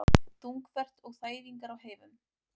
Þungfært og þæfingur á heiðum